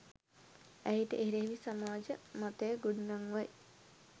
ඇයට එරෙහිව සමාජ මතය ගොඩනංවයි